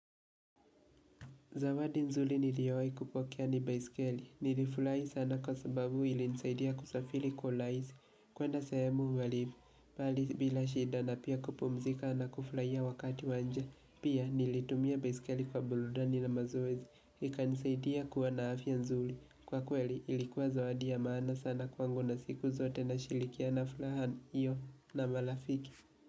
Zawadi nzuri niliyowai kupokea ni baiskeli, nilifurai sana kwa sababu ilinisaidia kusafiri kwa urahaisi, kwenda sahemu walibu, mbali mbali shida na pia kupumzika na kuflaia wakati wanja, pia nilitumia baiskeli kwa burudani na mazoezi, ikanisaidia kuwa na afya nzuri, kwa kweli ilikuwa zawadi ya maana sana kwangu na siku zote na shirikia na furaha, hiyo na marafiki.